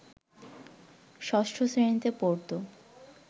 ষষ্ঠ শ্রেণিতে পড়ত